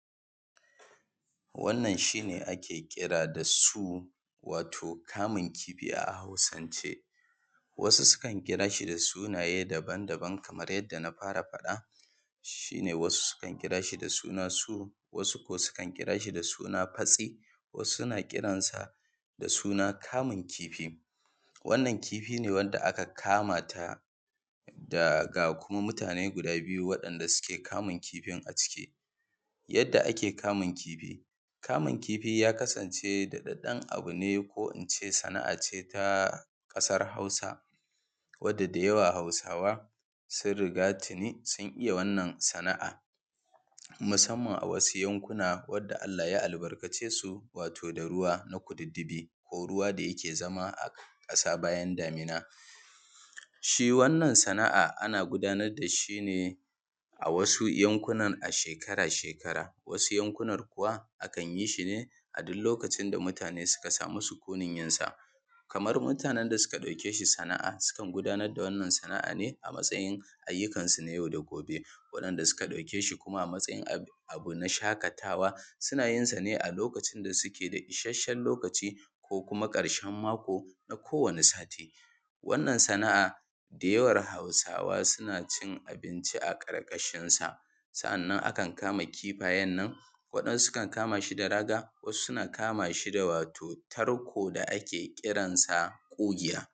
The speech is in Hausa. Wannan shi ake ƙira da su, wato kamun kifi a Hausance. Wasu sukan kira shi da sunaye daban-daban kamar yadda na fara faɗa, shi ne wasu sukan kira ahi da suna su, wasu kam sukan kira shi da suna fatse. Wasu sukan ƙira shi da suna kamun kifi. Wannan kifi ne da wanda aka kama ta da ga kuma mutane guda biyu waɗanda suke kamun kifin a ciki. Yadda ake kamun kifi, kamun kifi ya kasance daɗaɗɗan abu ne ko in ce sana’a ce ta ƙaar Hausa, wadda da yawa Hausawa sun riga tuni sun iya wannan sana’a, musamman a wasu yankuna wadda Allah ya albarkace su wato da ruwa na kududdudi ko ruwa da yake zama a ƙasa bayan damina. Shi wannan sana’a ana ana gudanar da shi ne a wasu yankunan a shekara-shekara, wasu yankunar kuwa a kan yi su ne a duk lokacin da mutane suka sami sukunin yin sa. Kamar mutanen da suka ɗauke shi sana’a, sukan gudanar da wannan sana’a ne a matsayin ayyukansu na yau da gobe. Waɗanda suka ɗauke shi kuma a matsayin abu abu na shaƙatawa suna yin sa ne a lokacin da suke da ishasshen lokaci, ko kuma ƙarshen mako na kowane sati. Wannan sana’a da yawan Hausawa suna cin abinci a ƙarƙashin sa. Sa’annan a kan kama kifayen nan, waɗansu sukan kama shi da raga, waɗansu sukan kama shi da raga, wasu sukan kama shi da wato tarko da ake ƙiransa ƙugiya.